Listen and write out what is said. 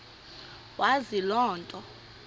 wazi loo nto